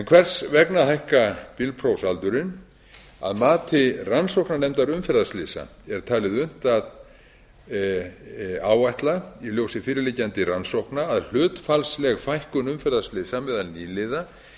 hvers vegna að hækka bílprófsaldurinn að mati rannsóknarnefndar umferðarslysa er talið unnt að áætla i ljósi fyrirliggjandi rannsókna að hlutfallsleg fækkun umferðarslysa meðal nýliða